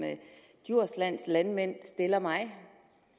djurslands landmænd stiller mig